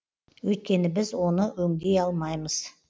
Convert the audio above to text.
өйткені біз оны өңдей алмаймыз